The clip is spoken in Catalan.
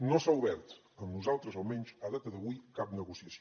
no s’ha obert amb nosaltres almenys a data d’avui cap negociació